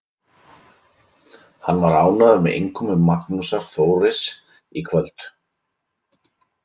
Hann var ánægður með innkomu Magnúsar Þóris í kvöld.